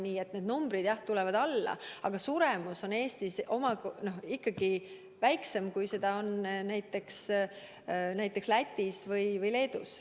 Nii et nende numbrid, jah, tulevad alla, aga suremus on Eestis ikkagi väiksem kui näiteks Lätis või Leedus.